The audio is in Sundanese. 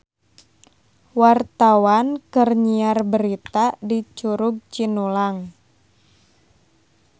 Wartawan keur nyiar berita di Curug Cinulang